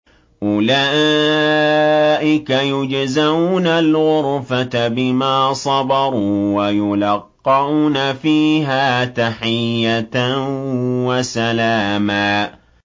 أُولَٰئِكَ يُجْزَوْنَ الْغُرْفَةَ بِمَا صَبَرُوا وَيُلَقَّوْنَ فِيهَا تَحِيَّةً وَسَلَامًا